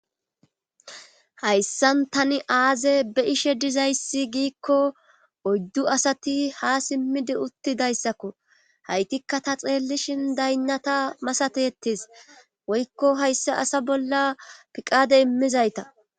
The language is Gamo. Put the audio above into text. Hayssan tani aaze be ishe dizayssi giikko oyddu asati ha simmidi uttidayssakko haytikka ta xeellishin daynnata masate ettis woykko hayssa asa bolla piqade immizayta.